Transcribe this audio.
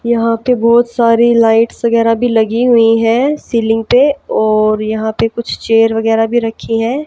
यहां पे बहोत सारी लाइट्स वगैराह भी लगी हुई है सीलिंग पे और यहां पे कुछ चेयर वगैराह भी रखी है।